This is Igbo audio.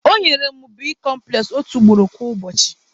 Ọ nyere mụ bicomples otu ugboro kwa ụbọchị.